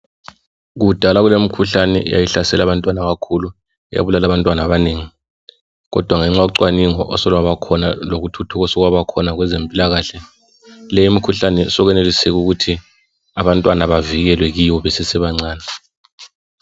Kudala kulemikhuhlane eyayihlasela abantwana abakhulu, yabulala abantwana abanengi. Kodwa ngenxa yocwaningo osolwabakhona lokuthuthuka osokwabakhona kwezempilakahle, le imikhuhlane sokweneliseka ukuthi abantwana bavikelwe kiyo besese bancane.